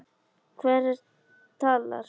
Hver talar?